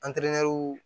An teriɲɛriw